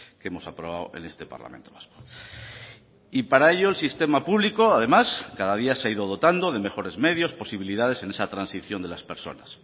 que hemos aprobado en este parlamento vasco y para ello el sistema público además cada día se ha ido dotando de mejores medios posibilidades en esa transición de las personas